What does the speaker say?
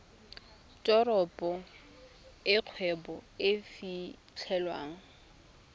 teropo e kgwebo e fitlhelwang